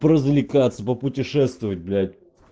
поразвлекаться попутешествовать блять